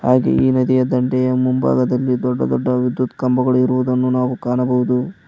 ಹಾಗೆಯೇ ಈ ನದಿಯ ದಂಡೆಯ ಮುಂಭಾಗದಲ್ಲಿ ದೊಡ್ಡ ದೊಡ್ಡ ವಿದ್ಯುತ್ ಕಂಬಗಳು ಇರುವುದನ್ನು ನಾವು ಕಾಣಬಹುದು.